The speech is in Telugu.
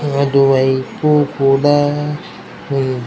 అటు వైపు కూడా ఒక దేవునిది ఉంది.